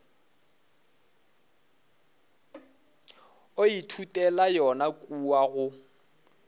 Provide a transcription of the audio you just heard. o ithutela yona kua go